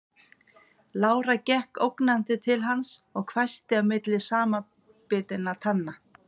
Lára gekk ógnandi til hans og hvæsti milli samanbitinna tanna